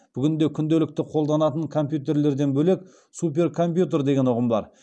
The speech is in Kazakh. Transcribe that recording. бүгінде күнделікті қолданатын компьютерлерден бөлек суперкомпьютер деген ұғым бар